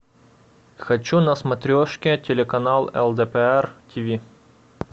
хочу на смотрешке телеканал лдпр тв